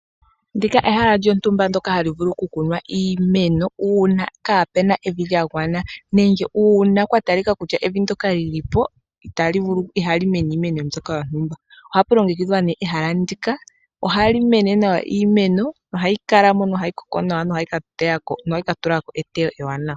Ndila ehala lyontumba ndoka hali vulu okukunwa iimeno uuna kaapuna evi lya gwana, nenge uuna kwa talika kutya evi ndoka li li po ihali mene iimeno mbyoka yontumba. Ohapu longekidhwa nee ehala ndika, ohali mene nawa iimeno yo ohayi kala mo nohayi koko nohayi ka tula ko eteyo ewanawa.